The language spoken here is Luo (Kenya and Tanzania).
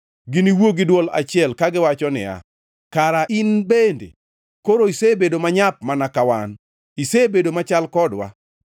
Giniwuo gi dwol achiel kagiwacho niya, “Kara in bende koro isebedo manyap, mana ka wan; isebedo machal kodwa.”